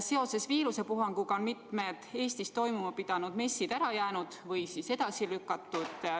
Seoses viirusepuhanguga on mitmed Eestis toimuma pidanud messid ära jäänud või edasi lükatud.